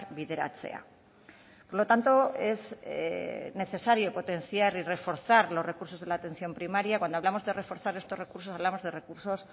bideratzea por lo tanto es necesario potenciar y reforzar los recursos de la atención primaria cuando hablamos de reforzar estos recursos hablamos de recursos